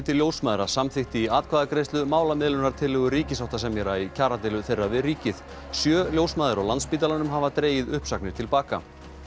ljósmæðra samþykkti í atkvæðagreiðslu málamiðlunartillögu ríkissáttasemjara í kjaradeilu þeirra við ríkið sjö ljósmæður á Landspítalanum hafa dregið uppsagnir til baka